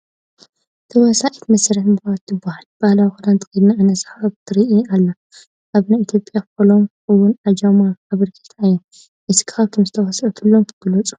ተዋሳኢት መሰረት መብራህቱ ትባሃል ።ባህላዊ ክዳን ተከዲና እናሰሓቀት ትርኣ ኣላ ። ኣብ ናይ ኢትዮጵያ ፎልም እውን እጃማ ኣበርኪታ እያ ።እስኪ ካብቶም ዝተዋሳኣቶም ግለፁ ?